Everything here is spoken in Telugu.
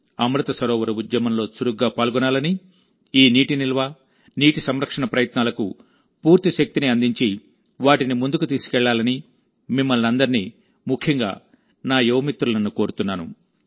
అమృత్ సరోవర్ ఉద్యమంలో చురుగ్గా పాల్గొనాలని ఈ నీటి నిల్వ నీటి సంరక్షణ ప్రయత్నాలకు పూర్తి శక్తిని అందించి వాటిని ముందుకు తీసుకెళ్లాలని మిమ్మలని అందరినీ ముఖ్యంగా నా యువ మిత్రులను కోరుతున్నాను